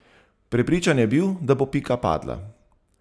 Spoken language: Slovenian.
Prepričan je bil, da bo Pika padla.